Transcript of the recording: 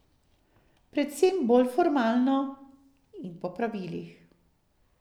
Predvsem bolj formalno in po pravilih.